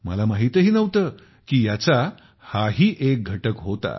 मला माहितही नव्हते की याचा हा ही एक घटक होता